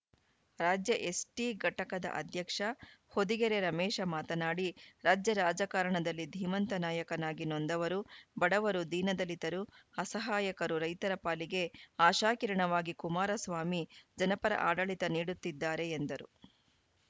ರಾಜ್ಯ ಎಸ್‌ಟಿ ಘಟಕದ ಅಧ್ಯಕ್ಷ ಹೊದಿಗೆರೆ ರಮೇಶ ಮಾತನಾಡಿ ರಾಜ್ಯ ರಾಜಕಾರಣದಲ್ಲಿ ಧೀಮಂತ ನಾಯಕನಾಗಿ ನೊಂದವರು ಬಡವರು ದೀನ ದಲಿತರು ಅಸಹಾಯಕರು ರೈತರ ಪಾಲಿಗೆ ಆಶಾಕಿರಣವಾಗಿ ಕುಮಾರಸ್ವಾಮಿ ಜನಪರ ಆಡಳಿತ ನೀಡುತ್ತಿದ್ದಾರೆ ಎಂದರು